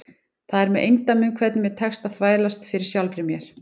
Það er með eindæmum hvernig mér tekst að þvælast fyrir sjálfri mér.